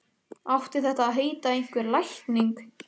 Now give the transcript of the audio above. Átti þetta að heita einhver lækning?